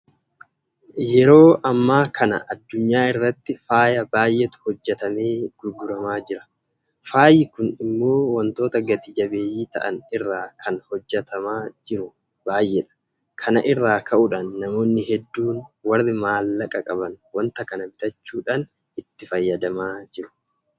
Yeroo ammaa kana addunyaa irratti faaya baay'eetu hojjetamee gurguramaa jira. Faayyi kun immoo waantota gati jabeeyyii ta'an irraa kan hojjetamaa jiru baay'eedha. Kana irraa ka'uudhaan namoonni hedduun warri maallaqa qaban waanta kana bitachuudhaan itti fayyadamaa jiru.